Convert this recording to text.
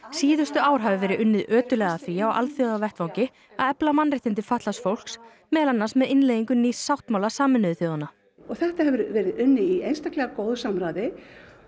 síðustu ár hafi verið unnið ötullega að því á alþjóðavettvangi að efla mannréttindi fatlaðs fólks meðal annars með innleiðingu nýs sáttmála Sameinuðu þjóðanna og þetta hefur verið unnið í einstaklega góðu samráði